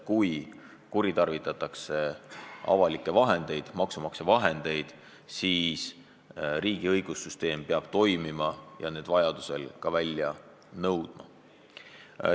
Kui kuritarvitatakse avalikke vahendeid, maksumaksja vahendeid, siis riigi õigussüsteem peab toimima ja need vajadusel välja nõudma.